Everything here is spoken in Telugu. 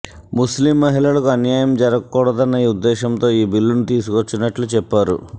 ముస్లిం మహిళలకు అన్యాయం జరగకూడదన్న ఉద్దేశంతో ఈ బిల్లును తీసుకొచ్చినట్లు చెప్పారు